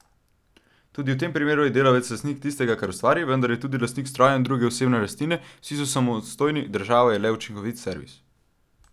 Tudi v tem primeru je delavec lastnik tistega, kar ustvari, vendar je tudi lastnik strojev in druge osebne lastnine, vsi so samostojni, država je le učinkovit servis.